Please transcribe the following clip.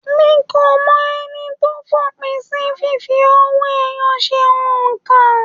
Mí ko mọ ẹni tó f'òpin sí fífi owó ẹyọ ṣe óńka.